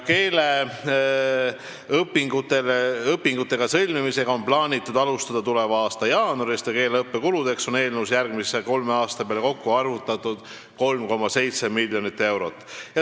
Keeleõppe lepingute sõlmimisega on plaanitud alustada tuleva aasta jaanuaris ja keeleõppe kuludeks on eelnõus järgmise kolme aasta peale arvestatud 3,7 miljonit eurot.